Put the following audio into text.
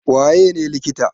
Waye ne likita?